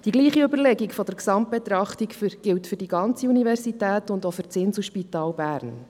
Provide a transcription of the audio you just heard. Dieselbe Überlegung betreffend eine Gesamtbetrachtung gilt für die gesamte Universität und auch für das Inselspital Bern.